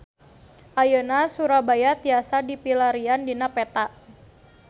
Ayeuna Surabaya tiasa dipilarian dina peta